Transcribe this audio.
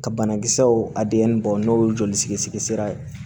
Ka banakisɛw a denyɛrɛni bɔ n'o ye joli sigira